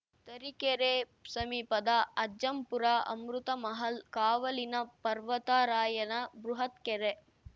ತರೀಕೆರೆ ಸಮೀಪದ ಅಜ್ಜಂಪುರ ಅಮೃತಮಹಲ್‌ ಕಾವಲಿನ ಪರ್ವತರಾಯನ ಬೃಹತ್‌ ಕೆರೆ